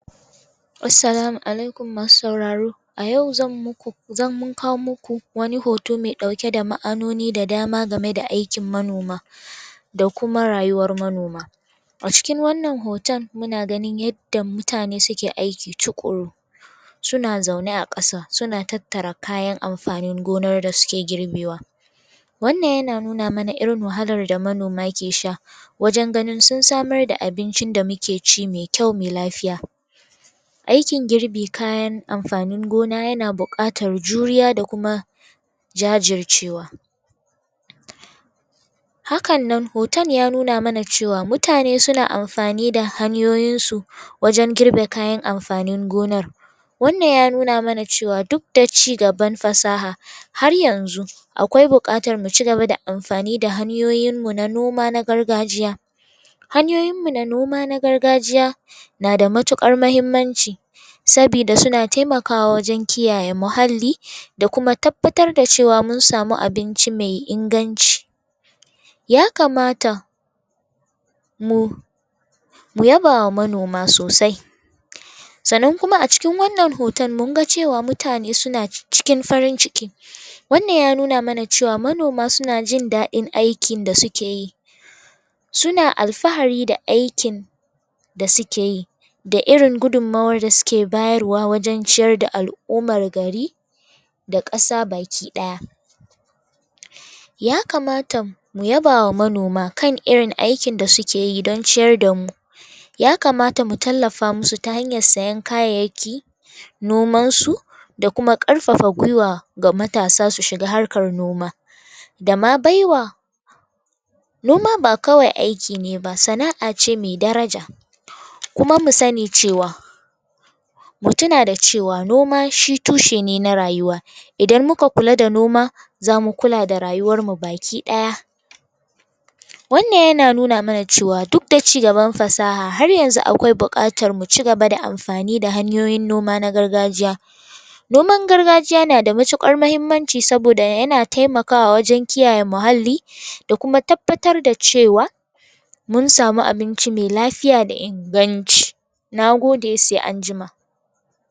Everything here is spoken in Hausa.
Assalamu alaikum, masu sauraro! A yau mun kawo muku wani hoto mai ɗauke da ma'anoni da dama game da aikin manoma. da kuma rayuwar manoma. A cikin wannan hoton muna ganin yadda mutane suke aiki tuƙuru. Suna zaune a ƙasa suna tattare kayan amfanin gonar da suke girbewa. Wannan yana nuna mana irin wahalar da manoma ke sha. wajen ganin sun samar da abincin da muke ci mai kyau mai lafiya. Aikin girbin kayan amfanin gona yana buƙatar juriya da kuma jajircewa. Hakan nan hoton ya nuna mana cewa mutane suna amfani da hanyoyinsu wajen girbe kayan amfanin gonar Wannan ya nuna mana cewa duk da cigaban fasaha har yanzu akwai bukatar mu ci gaba da amfani da hanyoyinmu na noma na gargajiya. Hanyoyinmu na noma na gargajiya na da matuƙar muhimmanci. Saboda suna taimawa wajen kiyaye muhalli da kuma tabbatar da cewa mun sami abinci mai inganci. Ya kamata mu yaba wa manoma sosai. Sannan kuma a cikin wannan hoton mun ga cewa mutane suna cikin fari ciki. Wannan ya nuna mana cewa manoma suna jin daɗin aikin da suke yi. Suna alfahari da aikin da suke yi. Da irin gudunmawar da suke bayarwa wajen ciyar da al'ummar gari. Da ƙasa baki daya. Ya kamata mu yaba wa manoma kan irin aikin da suke yi don ciyar da mu. Ya kamata mu tallafa musu ta hanyar sayan kayayyaki nomansu da kuma ƙarfafa gwiwa ga matasa su shiga harkar noma, da ma bai wa. Noma ba kawai aiki ne ba; sana'a ce mai daraja. Kuma mu sani cewa Mu tuna da cewa noma shi tushe ne na rayuwa. Idan muka kula da noma, za mu kula da rayuwarmu baki ɗaya. Wannan yana nuna mana cewa duk da cigan fasaha har yanzu akwai buƙatar mu ci gaba da amfani da hanyoyin noma na gargajiya. Noman gargajiya yana da matuƙar muhimmanci saboda yana taimakawa wajen kiyaye muhalli da kuma tabbatar da cewa mun samu abinci mai lafiya da inganci. Na gode, sai an jima.